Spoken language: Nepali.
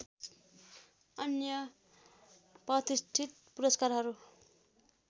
अन्य प्रतिष्ठित पुरस्कारहरू